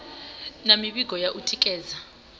na mivhigo ya u tikedza